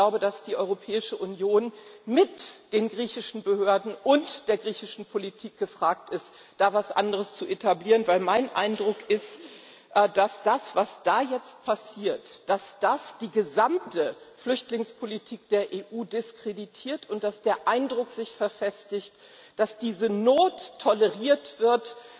Und ich glaube, dass die Europäische Union mit den griechischen Behörden und der griechischen Politik gefragt ist, da etwas anderes zu etablieren, da mein Eindruck ist, dass das, was da jetzt passiert, die gesamte Flüchtlingspolitik der EU diskreditiert und dass der Eindruck sich verfestigt, dass diese Not toleriert wird